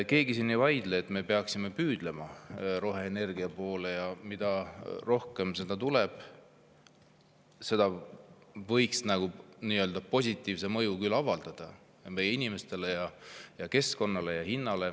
Keegi siin ei vaidle, et me peaksime püüdlema roheenergia poole, et mida rohkem seda tuleb, seda enam võiks see avaldada positiivset mõju meie inimestele ja keskkonnale ja hinnale.